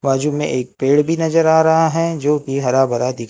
बाजू में एक पेड़ भी नजर आ रहा है जोकि हरा भरा दि--